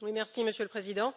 Monsieur le Président,